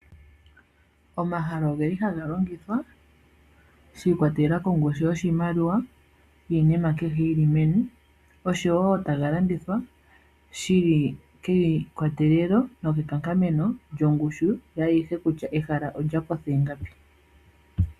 Omahala ogeli haga longithwa sha ikwatelela kongushu yoshimaliwa niinima kehe yili meni oshowo taga landithwa shili keyikwatelelo nokekankameno lyongushu yaayihe kutya ehala olya kotha ingapi.